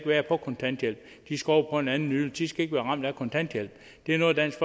være på kontanthjælp de skal over på en anden ydelse de skal ikke være ramt af kontanthjælp det er noget dansk